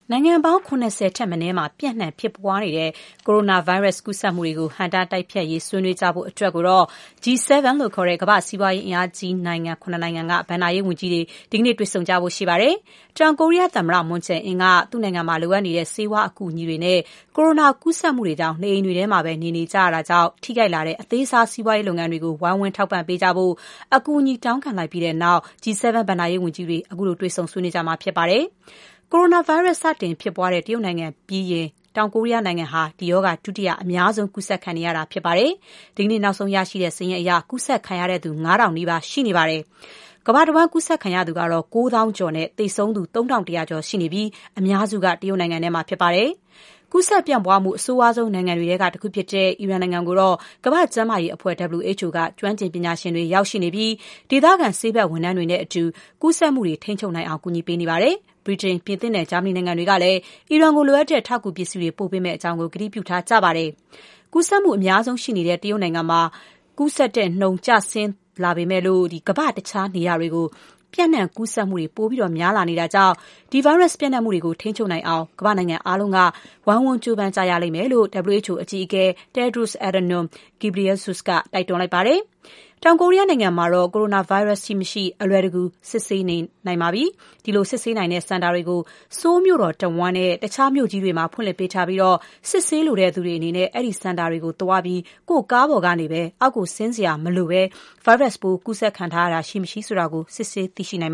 နိုင်ငံပေါင်း ၇၀ ထက်မနည်းမှာ ပျံ့နှံ့ဖြစ်ပွားနေတဲ့ ကိုရိုနာဗိုင်းရပ်စ် ကူးစက်မှုတွေကို ဟန့်တား တိုက်ဖျက်ရေး ဆွေးနွေးကြဖို့အတွက် G-7 လို့ခေါ်တဲ့ ကမ္ဘာ့စီးပွားရေး အင်အားကြီးနိုင်ငံ ၇ နိုင်ငံက ဘဏ္ဍာရေးဝန်ကြီးတွေ ဒီကနေ့ တွေ့ဆုံကြဖို့ရှိပါတယ်။ တောင်ကိုရီးယားသမ္မတ Moon Jae-in က သူ့နိုင်ငံမှာ လိုအပ်နေတဲ့ ဆေးဝါးအကူအညီတွေနဲ့ ကိုရိုနာကူးစက်မှုတွေကြောင့် နေအိမ်တွေထဲမှာပဲ နေကြတဲ့အတွက် ထိခိုက်လာတဲ့ အသေးစား စီးပွားရေးလုပ်ငန်းတွေကို ဝိုင်းဝန်း ထောက်ပံ့ပေးကြဖို့ အကူအညီတောင်းခံလိုက်ပြီးတဲ့နောက် G-7 ဘဏ္ဍာရေး ဝန်ကြီးတွေ ခုလို တွေ့ဆုံဆွေးနွေးကြမှာ ဖြစ်ပါတယ်။ ကိုရိုနာဗိုင်းရပ်စ် စတင် ကူးစက်ဖြစ်ပွားတဲ့ တရုတ်နိုင်ငံပြီးရင် တောင်ကိုရီးယားနိုင်ငံဟာ ဒီရောဂါ ဒုတိယအများဆုံး ကူးစက်ခံနေရတာဖြစ်ပါတယ်။ ဒီကနေ့ နောက်ဆုံးရရှိတဲ့စာရင်းအရ ကူးစက်ခံရသူ ၅,၀၀၀ နီးပါး ရှိနေပါတယ်။ ကမ္ဘာတဝှမ်း ကူးစက်ခံရသူကတော့ ၉၀,၀၀၀ ကျော်နဲ့ သေဆုံးသူ ၃,၁၀၀ ကျော် ရှိနေပြီး အများစုက တရုတ်နိုင်ငံမှာဖြစ်ပါတယ်။ ကူးစက် ပြန့်ပွားမှု အဆိုးဆုံးနိုင်ငံတွေထဲက တခုဖြစ်တဲ့ အီရန်နိုင်ငံကိုတော့ ကမ္ဘာကျန်းမာရေးအဖွဲ့ WHO က ကျွမ်းကျင်ပညာရှင်တွေ ရောက်ရှိနေပြီး ဒေသခံ ဆေးဘက်ဝန်ထမ်းတွေနဲ့အတူ ကူးစက်မှုတွေ ထိန်းချုပ်နိုင်အောင် ကူညီပေးနေပါတယ်။ ဗြိတိန်၊ ပြင်သစ်နဲ့ ဂျာမနီနိုင်ငံတွေကလည်း အီရန်ကို လိုအပ်တဲ့ ထောက်ကူပစ္စည်းတွေ ပေးပို့မယ့်အကြောင်း ကတိပြုထားကြပါတယ်။ ကူးစက်မှုအများဆုံးရှိနေတဲ့ တရုတ်နိုင်ငံမှာ ကူးစက်မှုနှုန်း ကျဆင်းလာပေမဲ့လို့ ကမ္ဘာ့တခြားနေရာတွေကို ပျံ့နှံ့ကူးစက်မှုတွေ ပိုများလာနေတာကြောင့် ဒီဗိုင်းရပ်စ် ပျံ့နှံ့မှုတွေကို ထိန်းချုပ်နိုင်အောင် ကမ္ဘာ့နိုင်ငံအားလုံး ဝိုင်းဝန်းကြိုးပမ်းကြဖို့ WHO အကြီးအကဲ Tedros Adhanom Ghebreyesus က တိုက်တွန်းထားပါတယ်။ တောင်ကိုရီးယားနိုင်ငံမှာတော့ ကိုရိုနာဗိုင်းရပ်စ် ရှိမရှိ မလွယ်တကူ စစ်ဆေးနိုင်နေပါပြီ။ ဒီလိုစစ်ဆေးနိုင်တဲ့ စင်တာတွေကို ဆိုးလ်မြို့တော်တဝှမ်းနဲ့ တခြားမြို့ကြီးတွေမှာပဲ ဖွင့်လှစ်ပေးထားပြီး စစ်ဆေးလိုသူတွေအနေနဲ့ အဲဒီစင်တာတွေကိုသွားပြီး ကိုယ့်ကားပေါ်ကနေ ဆင်းစရာမလိုဘဲ ဗိုင်းရပ်စပ်ပိုး ကူးစက်ခံထားရခြင်း ရှိမရှိ စစ်ဆေး သိရှိနိုင်